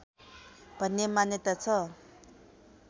भन्ने मान्यता छ